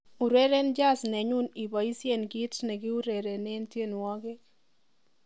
ureren jazit nenyun iboisyen kiit nekiurerenen tyenwogik